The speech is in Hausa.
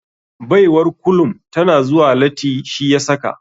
Baiwar kulum tana zuwa lati shi yasaka.